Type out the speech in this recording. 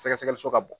Sɛgɛsɛgɛliso ka bon